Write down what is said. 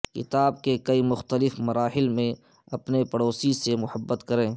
کتاب کے کئی مختلف مراحل میں اپنے پڑوسی سے محبت کریں